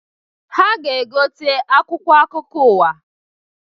Ha ga-egote akwụkwọ akụkọ ụwa.